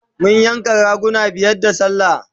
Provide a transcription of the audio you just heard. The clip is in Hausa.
mun yanka raguna guda biyar da sallah